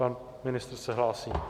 Pan ministr se hlásí.